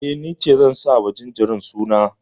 Eh, ni ce zan sa wa jinjirin suna.